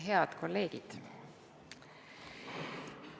Head kolleegid!